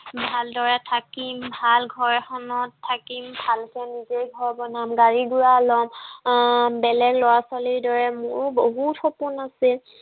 ভালদৰে থাকিম। ভাল ঘৰ এখনত থাকিম। ভালকে নিজেই ঘৰ বনাম। গাড়ী-ঘোড়া লম আহ বেলেগ লৰা ছোৱালীৰ দৰে মোৰো বহুত সপোন আছিল।